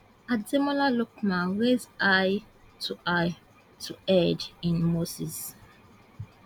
Ademola lookman rise high to high to head in moses